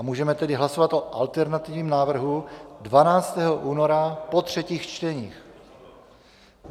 A můžeme tedy hlasovat o alternativním návrhu 12. února po třetích čteních.